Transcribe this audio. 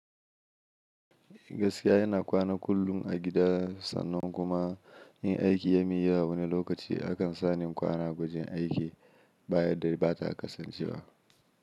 Gaskiya ina kwana kullum a gida sannan kuma in aiki ya min yawa wani lokaci, akan sani in kwana wajen aiki baya da bata kasancewa.